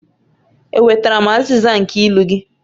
Enwetara m azịza nke ilu gị?